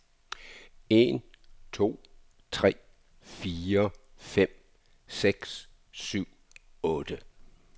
Tester en to tre fire fem seks syv otte.